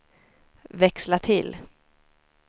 växla till